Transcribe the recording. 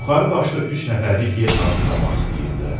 Yuxarı başda üç nəfərlik yer hazırlamaq istəyirdilər.